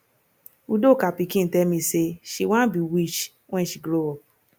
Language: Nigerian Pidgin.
udoka pikin tell me say she wan be witch wen she grow up